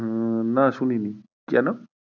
হম না শুনিনি, কেন?